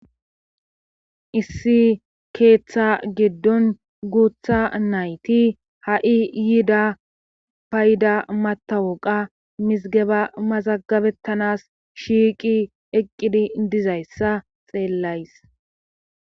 issi keeththa giddon guutha nayti ha'i yiida payda matawoqa misgeba mazagabettanas shiiqi eqqidi dizayssa xeellays.